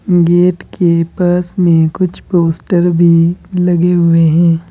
Gate के पास में कुछ पोस्टर भी लगे हुए हैं।